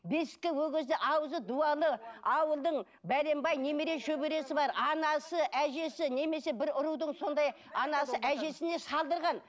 бесікке ол кезде ауызы дуалы ауылдың бәленбай немере шөбересі бар анасы әжесі немесе бір рудың сондай анасы әжесіне салдырған